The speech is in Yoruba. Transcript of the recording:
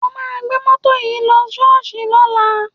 Wà á gbé mọ́tò yìí lọ ṣọ́ọ́ṣì lọ́la!